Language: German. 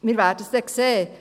Wir werden es dann sehen.